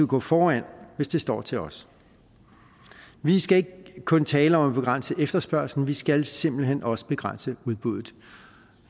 gå foran hvis det står til os vi skal ikke kun tale om at begrænse efterspørgslen men vi skal simpelt hen også begrænse udbuddet